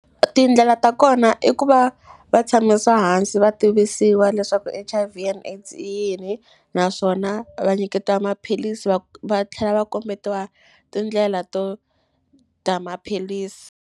Tindlela ta kona i ku va va tshamisa hansi va tivisiwa leswaku H_I_V and AIDS i yini naswona va nyiketiwa maphilisi va tlhela va kombetiwa tindlela to dya maphilisi.